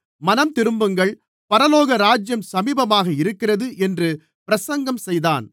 மனந்திரும்புங்கள் பரலோகராஜ்யம் சமீபமாக இருக்கிறது என்று பிரசங்கம் செய்தான்